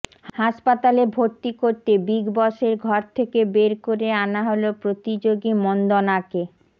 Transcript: হাসপাতালে ভর্তি করতে বিগ বসের ঘর থেকে বের করে আনা হল প্রতিযোগী মন্দনাকে